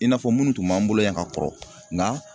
I n'a fɔ minnu tun b'an bolo yan ka kɔrɔ nga